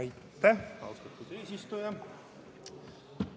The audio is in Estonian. Aitäh, austatud eesistuja!